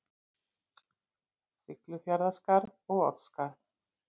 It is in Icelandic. Siglufjarðarskarð og Oddsskarð.